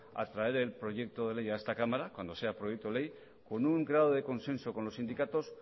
a traer el proyecto de ley a esta cámara cuando sea proyecto de ley con un grado de consenso con los sindicatos